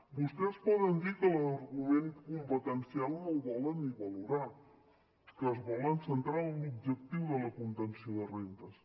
vostès poden dir que l’argument competencial no el volen ni valorar que es volen centrar en l’objectiu de la contenció de rendes